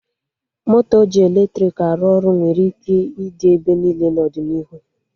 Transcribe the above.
Moto ji eletrik aey ọrụ nwere ike ịdị ebe niile n'ọdịnihu